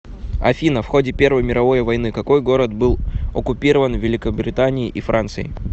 афина в ходе первой мировой войны какой город был оккупирован великобританией и францией